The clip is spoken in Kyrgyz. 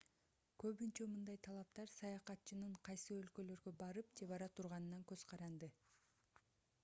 көбүнчө мындай талаптар саякатчынын кайсы өлкөлөргө барып же бара турганынан көз каранды